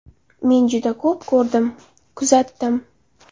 Men juda ko‘p ko‘rdim, kuzatdim.